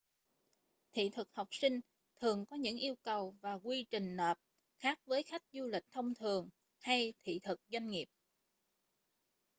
thị thực học sinh thường có những yêu cầu và quy trình nộp khác với khách du lịch thông thường hay thị thực doanh nghiệp